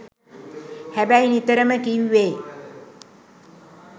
හැබැයි නිතරම කිව්වේ